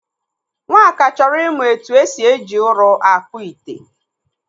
Nwaka chọrọ ịmụ etu esi eji ụrụ akpụ ite.